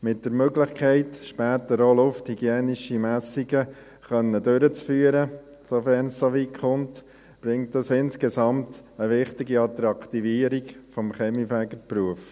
Mit der Möglichkeit, später auch lufthygienische Messungen durchführen zu können, sofern es so weit kommt, bringt dies insgesamt eine wichtige Attraktivierung des Kaminfegerberufs.